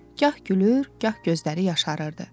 Gah gülür, gah gözləri yaşarırdı.